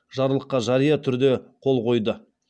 жарлыққа жария түрде қол қойды